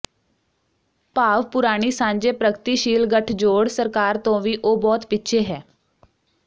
ਭਾਵ ਪੁਰਾਣੀ ਸਾਂਝੇ ਪ੍ਰਗਤੀਸ਼ੀਲ ਗਠਜੋੜ ਸਰਕਾਰ ਤੋਂ ਵੀ ਉਹ ਬਹੁਤ ਪਿੱਛੇ ਹੈ